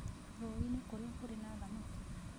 Rũũĩ-inĩ kũrĩa kũrĩ na thamaki.